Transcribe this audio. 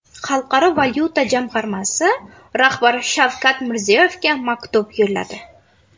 Xalqaro valyuta jamg‘armasi rahbari Shavkat Mirziyoyevga maktub yo‘lladi.